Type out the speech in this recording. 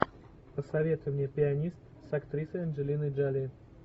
посоветуй мне пианист с актрисой анджелиной джоли